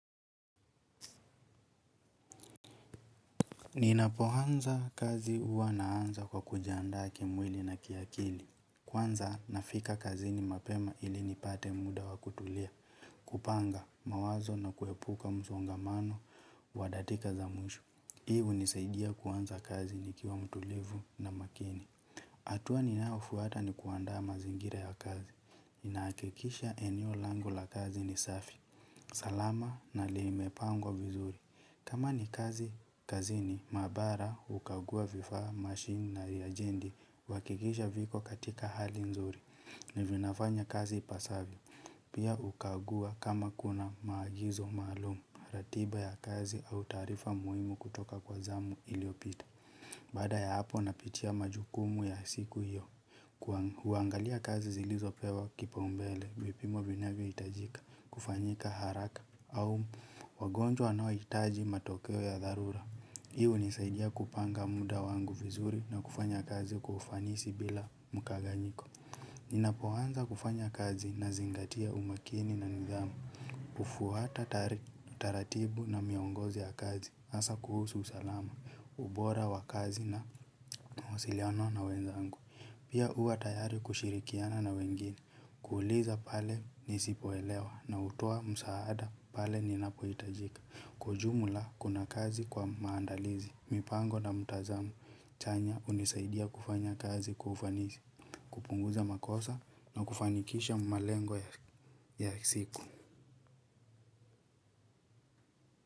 Ninapoanza kazi huwa naanza kwa kujiandaa kimwili na kiakili. Kwanza nafika kazini mapema ili nipate muda wa kutulia. Kupanga mawazo na kuepuka msongamano wa dakika za mwisho. Hii hunisaidia kuanza kazi nikiwa mtulivu na makini. Hatua ninayofuata ni kuandaa mazingira ya kazi. Ninahakikisha eneo langu la kazi ni safi. Salama na limepangwa vizuri. Kama ni kazi kazini, maabara hukagua vifaa, machine na reajendi. Huhakikisha viko katika hali nzuri. Na vinafanya kazi ipasavyo. Pia hukagua kama kuna maagizo maalumu. Ratiba ya kazi au taarifa muhimu kutoka kwa zamu iliyopita. Baada ya hapo napitia majukumu ya siku hiyo huangalia kazi zilizopewa kipaombele vipimo vinavyohitajika kufanyika haraka Au Wagonjwa wanao hitaji matokeo ya dharura. Hii hunisaidia kupanga muda wangu vizuri na kufanya kazi kwa ufanisi bila mkanganyiko. Ninapoanza kufanya kazi nazingatia umakini na nidhamu hufuata taratibu na miongozo ya kazi hasa kuhusu usalama ubora wa kazi na mawasiliano na wenzangu. Pia huwa tayari kushirikiana na wengine kuuliza pale nisipoelewa nautoa msaada pale ninapohitajika. Kwa ujumla kuna kazi kwa maandalizi. Mipango na mtazamo chanya hunisaidia kufanya kazi kwa ufanisi. Kupunguza makosa na kufanikisha malengo ya siku.